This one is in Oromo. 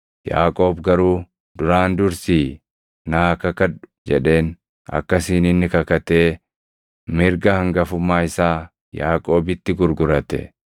Yaaqoob garuu, “Duraan dursii naa kakadhu” jedheen; akkasiin inni kakatee mirga hangafummaa isaa Yaaqoobitti gurgurate.